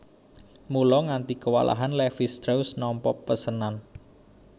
Mula nganti kewalahan Levis strauss nampa pesenan